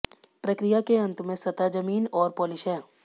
प्रक्रिया के अंत में सतह जमीन और पॉलिश है